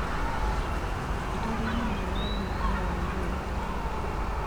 Arĩmi mararima kahũa mũno.